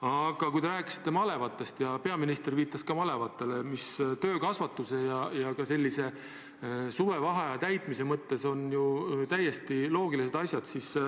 Aga te rääkisite malevatest ja peaminister viitas ka malevatele, mis töökasvatuse ja ka suvevaheaja täitmise mõttes on täiesti loogilised asjad.